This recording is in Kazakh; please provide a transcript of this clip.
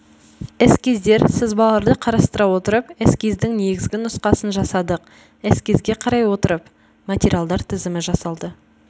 эскиздер сызбаларды қарастыра отырып эскиздің негізгі нұсқасын жасадық эскизге қарай отырып материалдар тізімі жасалды